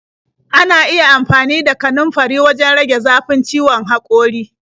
Ana iya amfani da kanunfari wajen rage zafin ciwon haƙori.